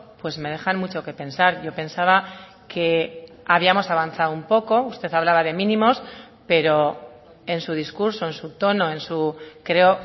pues me dejan mucho que pensar yo pensaba que habíamos avanzado un poco usted hablaba de mínimos pero en su discurso en su tono en su creo